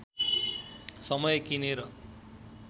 समय किनेर